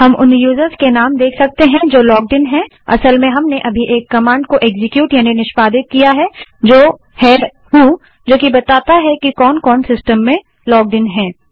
हम उन यूज़र्स के नाम देख सकते हैं जो लॉग्ड इन हैंअसल में हमने अभी एक कमांड को एक्सक्यूट यानि निष्पादित किया है जो है व्हो जो कि बताती है कि कौन कौन सिस्टम में लॉग्ड इन हैं